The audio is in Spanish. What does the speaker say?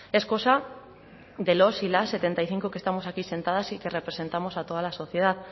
es cosa de los y las setenta y cinco que estamos aquí sentadas y que representamos a toda la sociedad